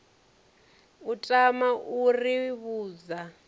u tama u ri vhudza